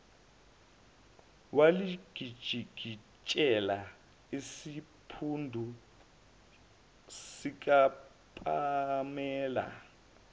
walijikijela esiphundu sikapamela